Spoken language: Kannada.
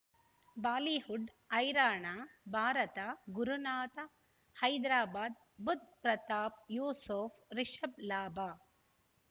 ಬಾಲಿವುಡ್ ಹೈರಾಣ ಭಾರತ ಗುರುನಾಥ ಹೈದರಾಬಾದ್ ಬುಧ್ ಪ್ರತಾಪ್ ಯೂಸುಫ್ ರಿಷಬ್ ಲಾಭ